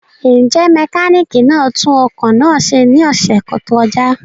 Njẹ mekaniki na tun ọkọ naa ṣe ni ọsẹ to kọja?